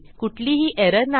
कुठलीही एरर नाही